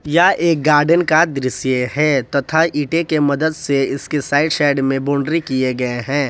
यह एक गार्डन का दृश्य है तथा ईंटें के मदत से इसके साइड साइड बाउंड्री किए गए है।